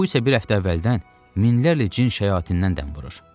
Bu isə bir həftə əvvəldən minlərlə cin-şayətindən dəm vurur.